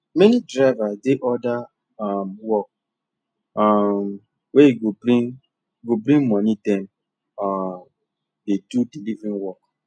many drivers dey other um work um wey go bring go bring money dem um dey do delivery work